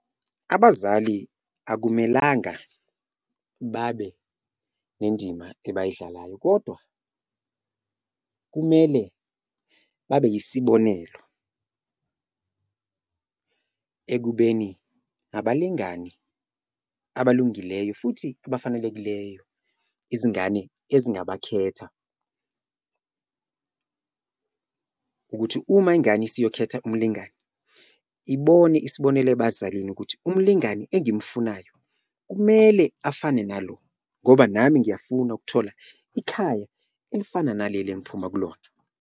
Abazali akumelanga babe nendima ebayidlalayo kodwa kumele babe isibonelo ekubeni abalingani abalungileyo futhi abafanelekileyo izingane ezingabakhetha. Ukuthi uma ingane isiyokhetha umlingani ibone isibonelo ebazalini ukuthi umlingani engimfunayo kumele afane nalo ngoba nami ngiyafuna ukuthola ikhaya elifana naleli engiphuma kulona.